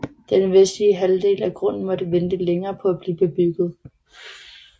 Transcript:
Den vestlige halvdel af grunden måtte vente længere på at blive bebygget